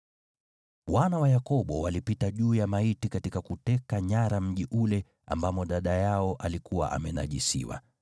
Wana wa Yakobo walipita juu ya maiti katika kuteka nyara mji ule ambamo dada yao alikuwa amenajisiwa.